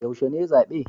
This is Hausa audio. Yaushe ne zabe?